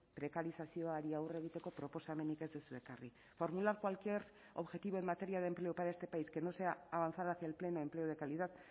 prekarizazioari aurre egiteko proposamenik ez duzue ekarri formular cualquier objetivo en materia de empleo para este país que no sea avanzar hacia el pleno empleo de calidad